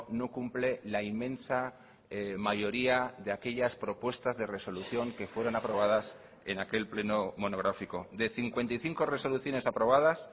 no cumple la inmensa mayoría de aquellas propuestas de resolución que fueron aprobadas en aquel pleno monográfico de cincuenta y cinco resoluciones aprobadas